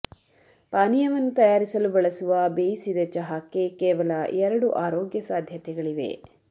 ಪಾನೀಯವನ್ನು ತಯಾರಿಸಲು ಬಳಸುವ ಬೇಯಿಸಿದ ಚಹಾಕ್ಕೆ ಕೇವಲ ಎರಡು ಆರೋಗ್ಯ ಸಾಧ್ಯತೆಗಳಿವೆ